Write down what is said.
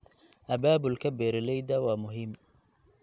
Abaabulka beeralayda waa muhiim.